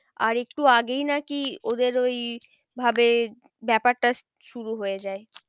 আর একটু আগেই নাকি ওদের ওই ভাবে ব্যাপারটা শুরু হয়ে যায়।